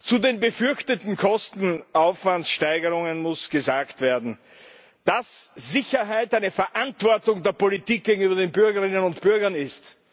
Zu den befürchteten Kosten, den Aufwandssteigerungen muss gesagt werden, dass Sicherheit eine Verantwortung der Politik gegenüber den Bürgerinnen und Bürgern ist.